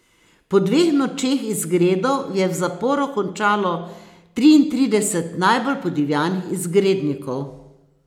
Po dveh nočeh izgredov je v zaporu končalo triintrideset najbolj podivjanih izgrednikov.